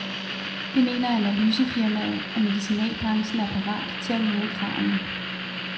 Det mener analysefirmaet, og medicinalbranchen er parat til at møde kravene.